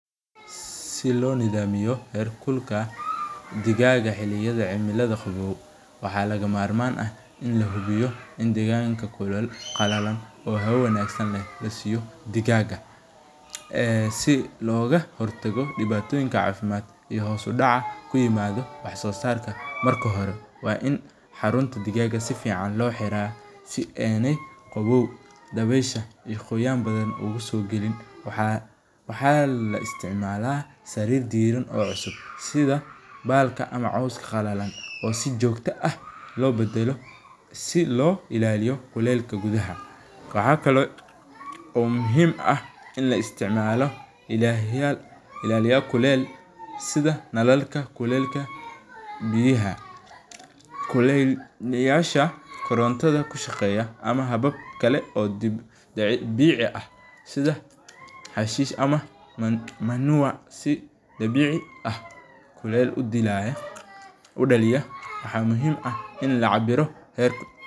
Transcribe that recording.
Silo nadhamiyo her kulankan digaga xiliyadha cimilaada qawow waxaa laga marman ah in lahubiyo in deganka qalalan oo hawa wanagsan leh lasiyo digaga ee si loga hortago diwatoyinka cafimaad iyo kahortaga cimilaada wax sosarka, marka hore waa in xarunta digaga sifican lo xiraa si ena qawow ama dawesha iyo qoyan badan u usogalin, waxaa laisticmala sarir diran oo cusub sitha balka ama coska qalalan oo si jogta ah lo badalo silo ilaliyo kulelka gidhaha, waxaa kalo muhiim ah in laisticmalo ilaliyal kulel sitha nalalka kulelka biyaha, kulel yasha korantadha ku shaqeya ama habab kale dabici ah sitha xashish ama mandoriyaha, manua si dabici ah kulel udilaya maxa muhiim ah in lacabiro.